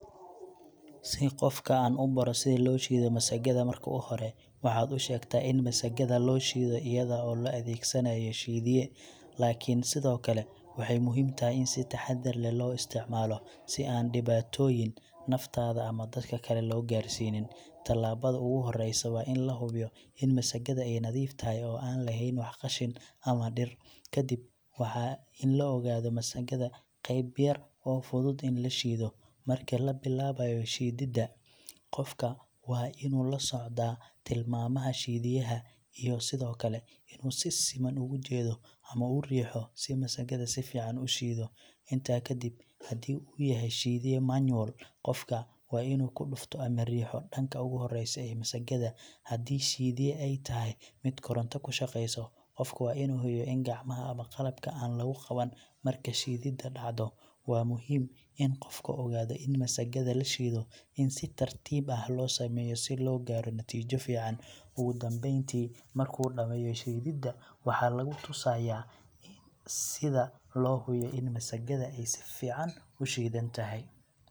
Si qofka aan u baro sida loo shiido masaggada, marka hore waxaad u sheegtaa in masaggada la shiido iyada oo la adeegsanayo shiidiye, laakiin sidoo kale waxay muhiim tahay in si taxadar leh loo isticmaalo, si aan u dhibaatooyin naftaada ama dadka kale loo gaarsiinin. Tallaabada ugu horeysa waa in la hubiyo in masaggada ay nadiif tahay oo aan laheyn wax qashin ama dhir. Kadib, waxaa in la ogaado masaggada qeyb yar oo fudud in la shiido. Marka la bilaabayo shiidida, qofka waa inuu la socdaa tilmaamaha shiidiyeha, iyo sidoo kale inuu si siman ugu jeedo ama u riixo si masaggada si fiican u shiiddo. Intaa ka dib, haddii uu yahay shiidiye manual, qofka waa inuu ku dhufto ama riixo dhanka ugu horeysa ee masaggada. Haddii shiidiye ay tahay mid koronto ku shaqeyso, qofka waa inuu hoyo in gacmaha ama qalabka aan lagu qaban marka shiidida dhacdo. Waa muhiim in qofka ogaado in masaggada la shiido in si tartiib ah loo sameeyo si loo gaaro natiijo fiican. Ugu dambeyntii, markuu dhammeeyo shiidida, waxaa lagu tusayaa sida loo hubiyo in masaggada ay si fiican u shiidantahay.